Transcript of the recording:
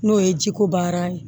N'o ye jiko baara ye